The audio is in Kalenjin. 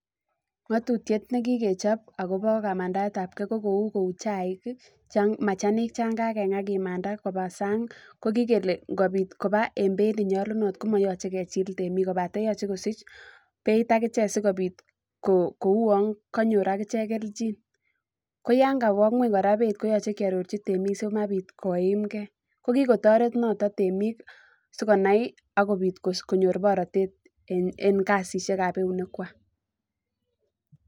Katutyet nekikechop akobo kamandaetab kei ko kou kou chaij machanik chan kakengaa chan kalimantan koba sang ii ko kikele kobitkoba en beit nenyolunot ko moyoche kechil temik kobaten yoche kosich beit akichet sikobit kou on konyor aichek kelchin koyan kowoo ngweny koyoche keotochi temik simabit koimkei kokikotoret notet yemik sikonai ak konyor baronet en kasishek ab eunekchwak